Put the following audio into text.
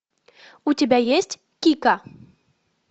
у тебя есть кика